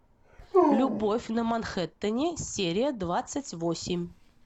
любовь на манхэттене серия двадцать восемь